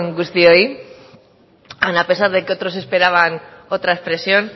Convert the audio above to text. guztioi aun a pesar de que otros esperaban otra expresión